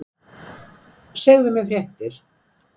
Segðu mér fréttir!